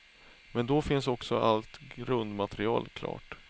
Men då finns också allt grundmaterial klart.